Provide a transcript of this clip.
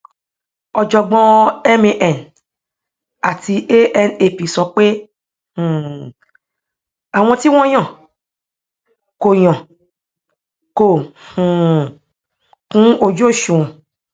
ọjọgbọn man àti anap sọ pé um àwọn tí wọn yàn kò yàn kò um kúnojúòṣùwọn